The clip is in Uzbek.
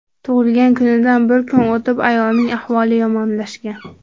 Tug‘ilgan kunidan bir kun o‘tib ayolning ahvoli yomonlashgan.